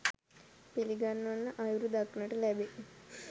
පිළිගන්වන අයුරු දක්නට ලැබේ.